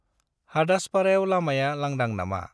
हादासपाराव लामाया लांदां नामा?